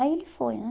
Aí ele foi, né?